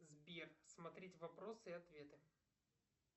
сбер смотреть вопросы и ответы